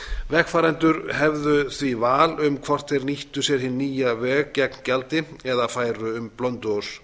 vegfarendur hefðu því val um hvort þeir nýttu sér hinn nýja veg gegn gjaldi eða færu um blönduós